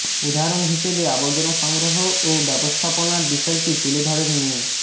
উদাহরণ হিসেবে আবর্জনা সংগ্রহ ও ব্যবস্থাপনার বিষয়টি তুলে ধরেন মি